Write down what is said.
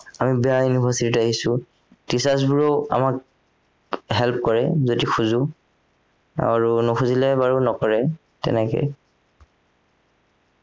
আমি বেয়া university ত আহিছো teachers বোৰেও আমাক help কৰে যদি খোজো আৰু নোখোজিলে বাৰু নকৰে তেনেকেই